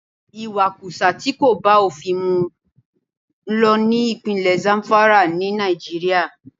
Ìwakùsà tí kò bá òfin mu ń lọ ní ìpínlè Zamfara, ní Nàìjíríà.